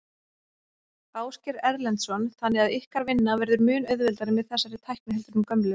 Ásgeir Erlendsson: Þannig að ykkar vinna verður mun auðveldari með þessari tækni heldur en gömlu?